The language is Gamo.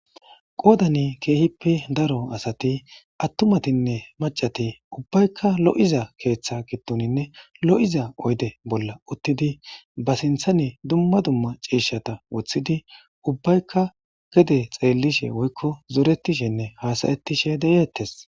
Qodani kehippe daro asati attumatine macati ubbayka lo'iza oyde bolla uttidi ba sinthani duma duma cishata wothidi ubayka gede xelishe woykon zoretishene hasayetishe detes